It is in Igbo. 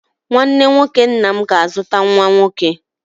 Nwanne nwoke nna m ga-azụta nwa nwoke